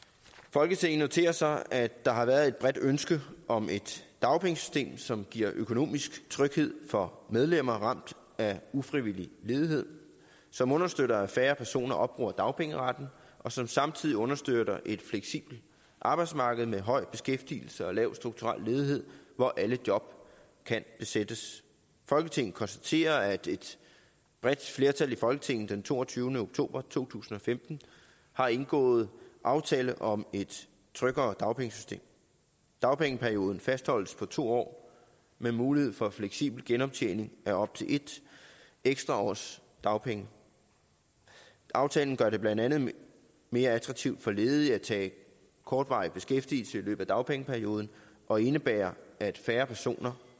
folketinget noterer sig at der har været et bredt ønske om et dagpengesystem som giver økonomisk tryghed for medlemmer ramt af ufrivillig ledighed som understøtter at færre personer opbruger dagpengeretten og som samtidig understøtter et fleksibelt arbejdsmarked med høj beskæftigelse og lav strukturel ledighed hvor alle job kan besættes folketinget konstaterer at et et bredt flertal i folketinget den toogtyvende oktober to tusind og femten har indgået aftale om et tryggere dagpengesystem dagpengeperioden fastholdes på to år med mulighed for en fleksibel genoptjening af op til et ekstra års dagpenge aftalen gør det blandt andet mere attraktivt for ledige at tage kortvarig beskæftigelse i løbet af dagpengeperioden og indebærer at færre personer